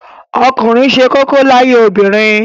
Ọkùnrin ṣe kókó láyé obìnrin